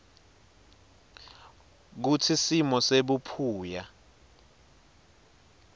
kutsi simo sebuphuya